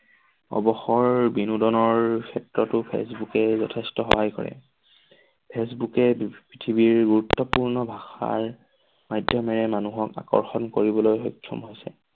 অৱসৰ বিনোদনৰ ক্ষেত্ৰটো ফেচবুকে যথেষ্ট সহায় কৰে। ফেচবুকে পৃথিৱীৰ গুৰুত্বপূৰ্ণ ভাষাৰ মাধ্যমেৰে মানুহক আকষৰ্ণ কৰিবলৈ সক্ষম হৈছে।